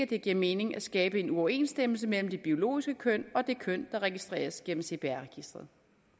det giver mening at skabe en uoverensstemmelse mellem det biologiske køn og det køn der registreres gennem cpr registeret